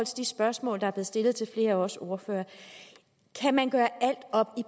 de spørgsmål der er blevet stillet til flere af os ordførere kan man gøre alt op i